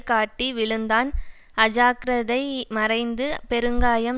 காட்டி விழுந்தான் அஜாக்கிரதை மறைந்து பெருங்காயம்